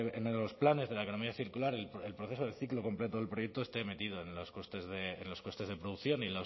en los planes de la economía circular el proceso del ciclo completo del proyecto esté metido en los costes de producción y